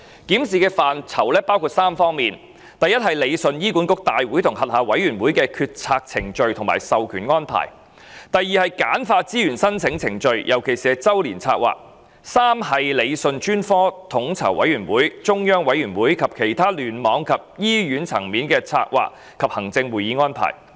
檢視範疇包括3方面：第一，理順醫管局大會及轄下委員會的決策程序或授權安排；第二，簡化資源申請程序，尤其是周年策劃；以及第三，理順專科統籌委員會、中央委員會及其他聯網和醫院層面的策劃及行政會議安排。